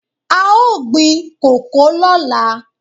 A ó gbin kòkó lọ́la.